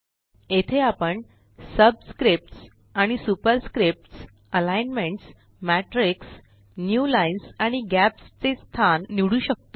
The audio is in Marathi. येथे आपण सबस्क्रिप्ट्स आणि superscripts alignments matrix new lines आणि गॅप्स चे स्थान निवडू शकतो